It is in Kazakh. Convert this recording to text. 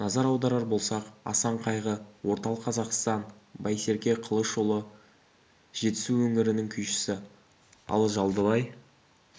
назар аударар болсақ асанқайғы орталық қазақстан байсерке қылышұлы жетісу өңірінің күйшісі ал жалдыбай